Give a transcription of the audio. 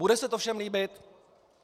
Bude se to všem líbit?